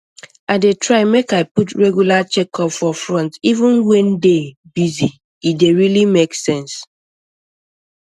i dey try make i put regular checkup for front even when day busy e dey really make sense